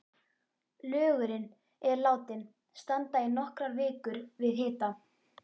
Lögurinn er látinn standa í nokkrar vikur við hita.